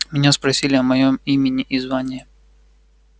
меня спросили о моем имени и звании